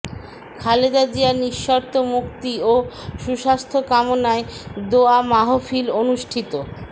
খালেদা জিয়ার নিঃশর্ত মুক্তি ও সুস্বাস্থ্য কামনায় দোয়া মাহফিল অনুষ্ঠিত